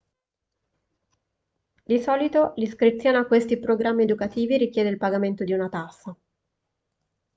di solito l'iscrizione a questi programmi educativi richiede il pagamento di una tassa